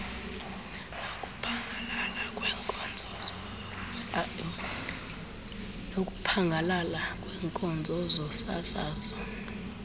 nokuphangalala kweenkonzo zosasazo